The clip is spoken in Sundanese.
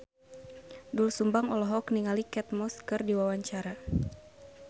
Doel Sumbang olohok ningali Kate Moss keur diwawancara